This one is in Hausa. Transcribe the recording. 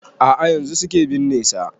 A'a yanzun suke binne sa